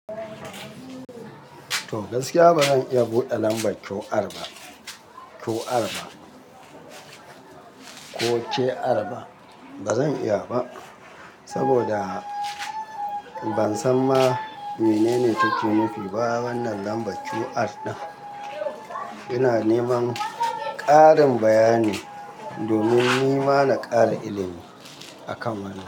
To, gaskiya bazan iya buɗe lambar QR ba, QR ba, ko QR ba. Bazan iya ba saboda ban san ma menene take nufi. Ba ya wannan lambar QR ɗin, ina neman ƙarin bayani domin ni ma na ƙara ilimi a kan wannan.